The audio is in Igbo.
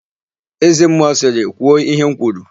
Ézēmmụọ sịrị, "kwuo íhé m kwuru"!